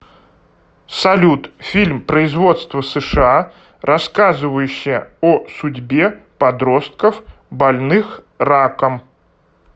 салют фильм производства сша рассказывающая о судьбе подростков больных раком